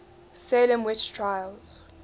salem witch trials